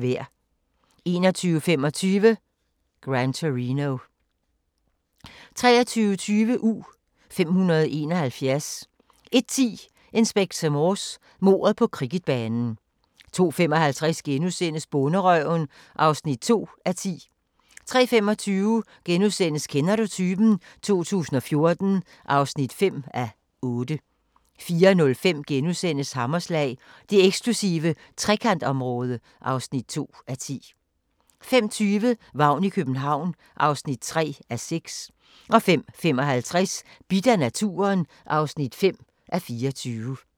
21:25: Gran Torino 23:20: U-571 01:10: Inspector Morse: Mordet på cricketbanen 02:55: Bonderøven (2:10)* 03:25: Kender du typen? 2014 (5:8)* 04:05: Hammerslag – det eksklusive Trekantområde (2:10)* 05:20: Vagn i København (3:6) 05:55: Bidt af naturen (5:24)